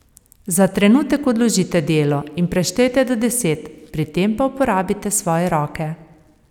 Za trenutek odložite delo in preštejte do deset, pri tem pa uporabite svoje roke.